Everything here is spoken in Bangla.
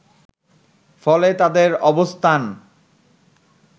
ফলে তাদের অবস্থান